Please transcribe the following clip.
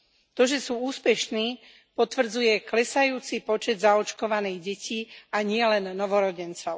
To, že sú úspešní, potvrdzuje klesajúci počet zaočkovaných detí, a nielen novorodencov.